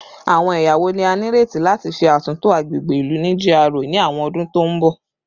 Awọn ẹya wo ni a nireti lati ṣe atunto agbegbe ilu ni GRA ni awọn ọdun to n bọ?